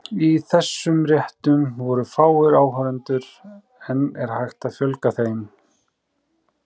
Í þessum réttum voru fáir áhorfendur, en er hægt að fjölga þeim?